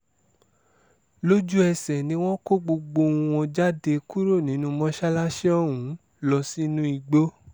lójú-ẹsẹ̀ ni wọ́n kó gbogbo wọn jáde kúrò nínú mọ́ṣáláṣí ọ̀hún lọ sínú igbó